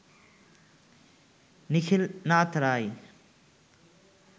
Nikhilnath Roy